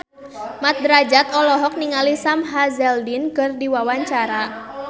Mat Drajat olohok ningali Sam Hazeldine keur diwawancara